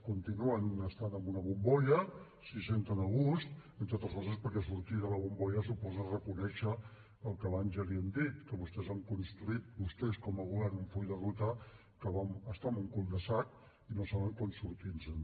continuen estant en una bombolla s’hi senten a gust entre altres coses perquè sortir de la bombolla suposa reconèixer el que abans ja li hem dit que vostès han construït vostès com a govern un full de ruta que està en un cul de sac i que no saben com sortir se’n